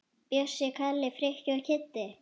Bjössi, Kalli, Frikki og Kiddi!